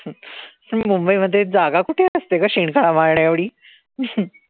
मुंबईमध्ये जागा कुठे असते ग शेणखळा माळण्याएवढी?